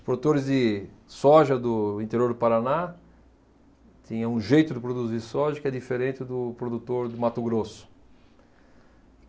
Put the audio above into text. Os produtores de soja do interior do Paraná tinham um jeito de produzir soja que é diferente do produtor do Mato Grosso.